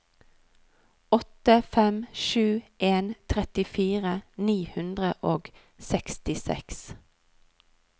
åtte fem sju en trettifire ni hundre og sekstiseks